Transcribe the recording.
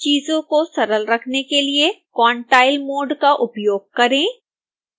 चीजों को सरल रखने के लिए quantile मोड़ का उपयोग करें